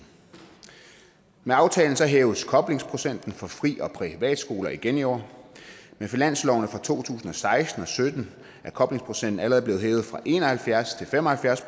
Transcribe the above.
med aftalen hæves koblingsprocenten for fri og privatskoler igen i år med finanslovene for to tusind og seksten og sytten er koblingsprocenten allerede blevet hævet fra en og halvfjerds til fem og halvfjerds